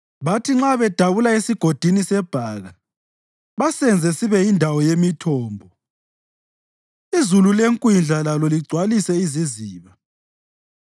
Bathi nxa bedabula esiGodini seBhaka basenze sibe yindawo yemithombo; izulu lekwindla lalo ligcwalise iziziba.